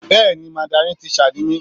Bẹ́ẹ̀ni Mandarin teacher ni mí.